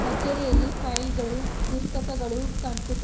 ಕಚೇರಿಯಲ್ಲಿ ಫೈಲ್ ಗಳು ಪುಸ್ತಕಗಳು ಕಂಪ್ಯೂಟರ್ --